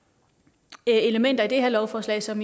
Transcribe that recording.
er elementer i det her lovforslag som